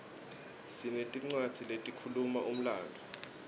sinetincwadzi letikhuluma umlandvo